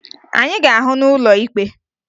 Anyị ga-ahụ n'ụlọ ikpe!